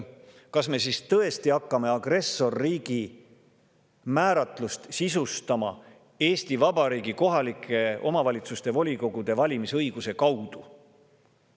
Kas me tõesti hakkame agressorriigi määratlust sisustama Eesti Vabariigi kohaliku omavalitsuse volikogu valimise õiguse kaudu?